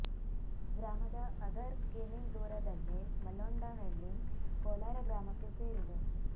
ಗ್ರಾಮದ ಅಧರ್ ಕಿ ಮೀ ದೂರದಲ್ಲೇ ಮಲ್ಲೊಂಡಹಳ್ಳಿ ಕೋಲಾರ ಗ್ರಾಮಕ್ಕೆ ಸೇರಿದೆ